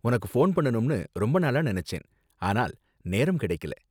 உனக்கு போன் பண்ணனும்னு ரொம்ப நாளா நினைச்சேன் ஆனால் நேரம் கிடைக்கல.